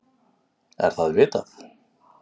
Er það vitað?